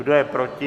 Kdo je proti?